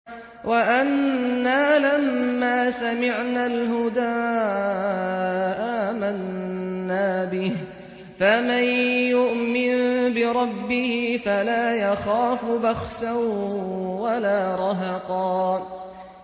وَأَنَّا لَمَّا سَمِعْنَا الْهُدَىٰ آمَنَّا بِهِ ۖ فَمَن يُؤْمِن بِرَبِّهِ فَلَا يَخَافُ بَخْسًا وَلَا رَهَقًا